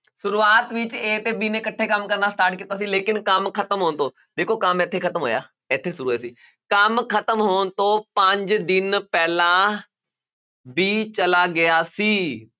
ਸ਼ੁਰੂਆਤ ਵਿੱਚ a ਤੇ b ਨੇ ਇਕੱਠੇ ਕੰਮ ਕਰਨਾ start ਕੀਤਾ ਸੀ ਲੇਕਿੰਨ ਕੰਮ ਖ਼ਤਮ ਹੋਣ ਤੋਂ ਦੇਖੋ ਕੰਮ ਇੱਥੇ ਖ਼ਤਮ ਹੋਇਆ, ਇੱਥੇ ਸ਼ੁਰੂ ਹੋਇਆ ਸੀ, ਕੰਮ ਖ਼ਤਮ ਹੋਣ ਤੋਂ ਪੰਜ ਦਿਨ ਪਹਿਲਾਂ b ਚਲਾ ਗਿਆ ਸੀ